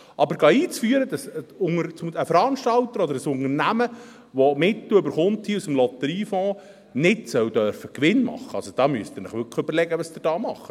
Aber einzuführen, dass ein Veranstalter oder ein Unternehmen, der die Mittel aus dem Lotteriefonds erhält, keinen Gewinn machen darf, also da müssen Sie sich wirklich überlegen, was Sie hier tun.